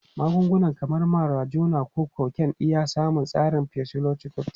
Magunguna kamar marijuana ko cocaine na iya samun tasirin psychoactive.